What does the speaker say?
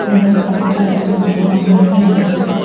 இடம் பாக்குறதுக்கு ரொம்ப அமைதியா இருக்கு.